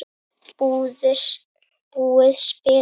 Búið spil.